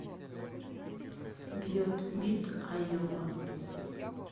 бьет бит айова